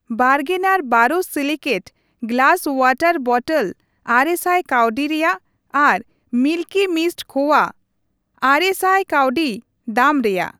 ᱵᱟᱨᱜᱽᱱᱟᱨ borosilicate glass water bottle ᱟᱨᱮ ᱥᱟᱭ ᱠᱟᱹᱣᱰᱤ ᱨᱮᱭᱟᱜ ᱟᱨ ᱢᱤᱞᱠᱤ ᱢᱤᱥᱴ ᱠᱷᱳᱵᱷᱟ ᱙᱐᱐ ᱠᱟᱹᱣᱰᱤ ᱫᱟᱢ ᱨᱮᱭᱟᱜ ᱾